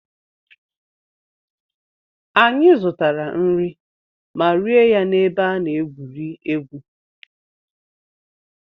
Anyị zụtara nri ma rie ya n'ebe a na-egwuri egwu.